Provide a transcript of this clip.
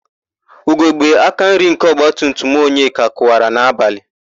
Ugogbe akanri nke ọgbatumtum Onyeka kụwara n'abalị.